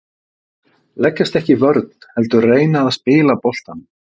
Leggjast ekki í vörn heldur reyna að spila boltanum.